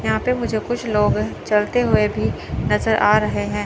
यहां पे मुझे कुछ लोग चलते हुए भी नजर आ रहे हैं।